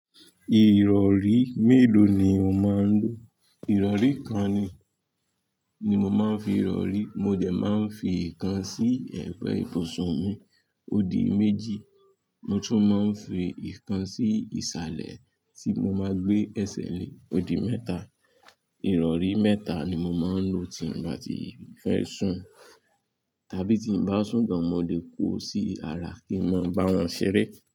Ìrọ̀rí mélòó ni o máa ń lò? Ìrọ̀rí kan ni, ni mo máa ń fi ìrọ̀rí. Mo dẹ̀ máa ń fi ìkan sí ẹ̀gbẹ̀ ìbùsùn mi ó di méjì. Mo tún máa ń fi ìkan sí ìsàlẹ̀ tí mo máa gbé ẹsẹ̀ lé ó di mẹ́ta. Ìrọ̀rí mẹ́ta ni mo máa ń lò tí bá ti fẹ́ sùn tàbí tí bá sùn gan-an, mo lè kó o sí ara kí n máa bá wọn ṣeré.